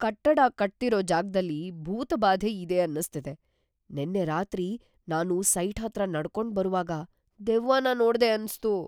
ಕಟ್ಟಡ ಕಟ್ತಿರೋ ಜಾಗ್ದಲ್ಲಿ ಭೂತಬಾಧೆ ಇದೆ ಅನ್ನಿಸ್ತಿದೆ. ನೆನ್ನೆ ರಾತ್ರಿ ನಾನು ಸೈಟ್ ಹತ್ರ ನಡ್ಕೊಂಡ್‌ ಬರುವಾಗ ದೆವ್ವನ ನೋಡ್ದೆ ಅನ್ಸ್ತು.